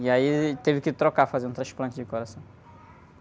E aí ele teve que trocar, fazer um transplante de coração.